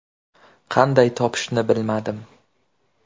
Qanday topishni bilmadim.